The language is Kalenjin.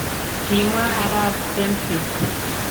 Kimwaa arap Fearnhead.